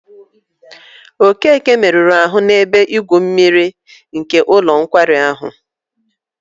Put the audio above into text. Okeke meruru ahụ n'ebe igwu mmiri nke ụlọ nkwari ahụ.